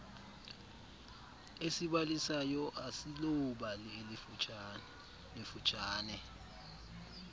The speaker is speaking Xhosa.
esibalisayo asiloobali lifutshane